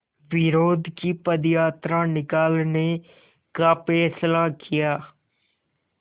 विरोध की पदयात्रा निकालने का फ़ैसला किया